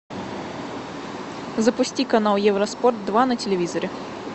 запусти канал евроспорт два на телевизоре